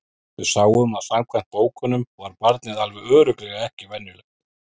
Við sáum að samkvæmt bókunum var barnið alveg örugglega ekki venjulegt.